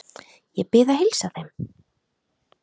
Ég bið að heilsa þeim.